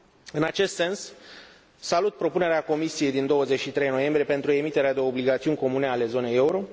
În acest sens, salut propunerea Comisiei din 23 noiembrie pentru emiterea de obligațiuni comune ale zonei euro.